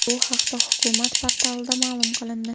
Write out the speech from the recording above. Bu haqda hukumat portalida ma’lum qilindi .